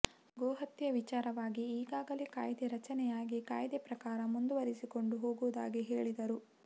ಗೋಹತ್ಯೆ ವಿಚಾರವಾಗಿ ಈಗಾಗಲೇ ಕಾಯ್ದೆ ರಚನೆಯಾಗಿ ಕಾಯ್ದೆ ಪ್ರಕಾರ ಮುಂದುವರೆಸಿಕೊಂಡು ಹೋಗುವುದಾಗಿ ಹೇಳಿದರು